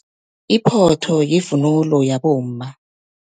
Iphotho, yivunulo yabomma.